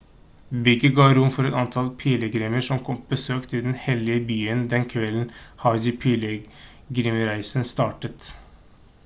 bygget ga rom for et antall pilegrimer som kom på besøk til den hellige byen den kvelden hajj-pilegrimsreisen startet